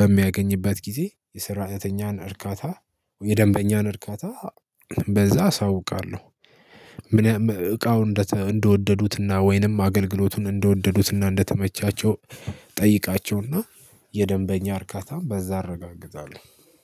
በሚያገኝበት ጊዜ የስራተኛን እርካታ የደንበኛን እርካታ በዛ አሳውቃለሁ። እቃው እንደወደዱትና ወይንም አገልግሎቱን እንደወደዱትና እንደተመቻቸው ጠይቃቸውና የደንበኛ እርካታም በዛ እረጋግዛለሁ